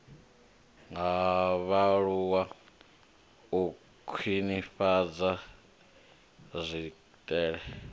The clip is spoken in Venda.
ha vhaaluwa u khwinifhadza tswikelelo